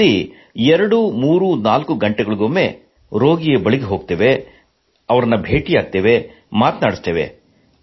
ದಿನದಲ್ಲಿ 234 ಗಂಟೆಗಳಿಗೊಮ್ಮೆ ರೋಗಿಯ ಬಳಿ ಹೋಗುತ್ತೇವೆ ಭೇಟಿಯಾಗುತ್ತೇವೆ ಮಾತನಾಡಿಸುತ್ತೇವೆ